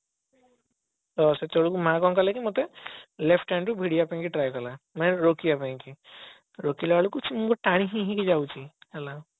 ତ ସେତେବେଳକୁ ମା କଣ କଲା କି ମତେ left hand ରୁ ଭିଡିବା ପାଇଁ try କଲା ମାନେ ରୋକିବା ପାଇଁ କି ରୋକିଲା ବେଳକୁ ସେ ମତେ ଟାଣିକି ନେଇକି ଯାଉଛି ହେଲା